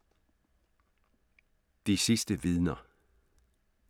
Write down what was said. De sidste vidner